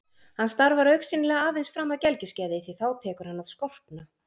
Hann starfar augsýnilega aðeins fram að gelgjuskeiði því þá tekur hann að skorpna.